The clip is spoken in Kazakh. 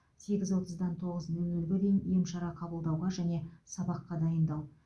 сегіз отыздан тоғыз нөл нөлге дейін ем шара қабылдауға және сабаққа дайындау